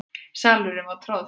Salurinn var troðfullur.